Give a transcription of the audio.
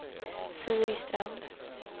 Siri Strand